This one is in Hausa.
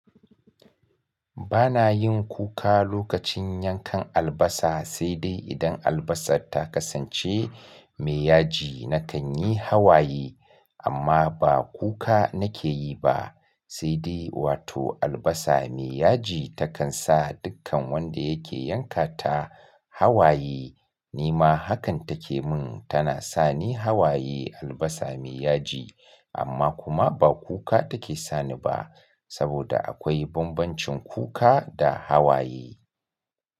Ba na yin kuka lokacin yankan albasa, sai dai idan albasa ta kasance mai yaji na kan yi hawaye amma ba kuka nake yi ba. Sai dai wato albasa mai yaji takan sa dukkan wanda yake yanka ta hawaye. Ni ma hakan take mun tana sani hawaye albasa mai yaji amma kuma ba kuka take sani ba saboda akwai bambancin kuka da hawaye.